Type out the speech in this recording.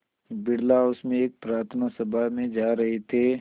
Birla house में एक प्रार्थना सभा में जा रहे थे